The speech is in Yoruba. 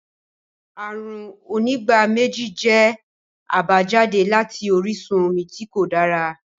Àrùn onígbáméjì jẹ́ àbájáde láti orísun omi tí kò dára